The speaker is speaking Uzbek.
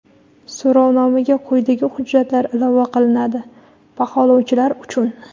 So‘rovnomaga quyidagi hujjatlar ilova qilinadi (baholovchilar uchun):.